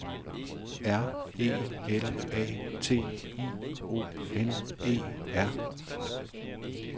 R E L A T I O N E R